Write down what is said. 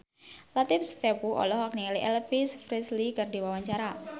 Latief Sitepu olohok ningali Elvis Presley keur diwawancara